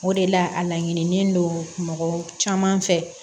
O de la a laɲini don mɔgɔ caman fɛ